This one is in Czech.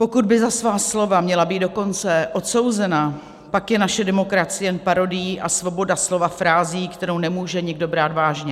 Pokud by za svá slova měla být dokonce odsouzena, pak je naše demokracie jen parodií a svoboda slova frází, kterou nemůže nikdo brát vážně.